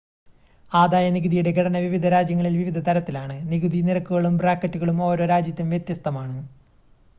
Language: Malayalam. ആദായ നികുതിയുടെ ഘടന വിവിധ രാജ്യങ്ങളിൽ വിവിധ തരത്തിലാണ് നികുതി നിരക്കുകളും ബ്രാക്കറ്റുകളും ഓരോ രാജ്യത്തും വ്യത്യസ്തമാണ്